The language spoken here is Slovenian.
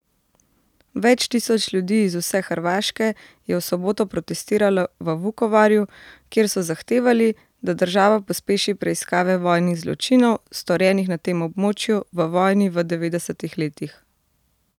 Več tisoč ljudi iz vse Hrvaške je v soboto protestiralo v Vukovarju, kjer so zahtevali, da država pospeši preiskave vojnih zločinov, storjenih na tem območju v vojni v devetdesetih letih.